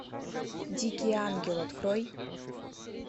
дикий ангел открой